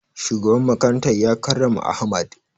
Shugaban makarantar ya karrama ahmad